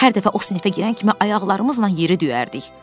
Hər dəfə o sinifə girən kimi ayaqlarımızla yeri döyərdi.